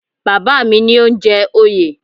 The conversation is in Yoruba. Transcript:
Bàbá mi ni ó ń jẹ oyè